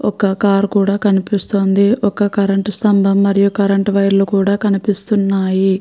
ఒక కార్ కూడా కనిపిస్తుందిఒక కరెంట్ స్తంభం మరియు కరెంట్ వైర్ లు కూడా కనిపిస్తున్నాయి.